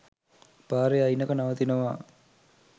පාරෙ අයිනක නවතිනවා